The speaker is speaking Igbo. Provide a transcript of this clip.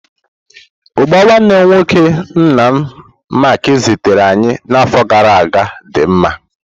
Ugba nwanne nwoke nna m Mark zitere anyi na afo gara aga di mma.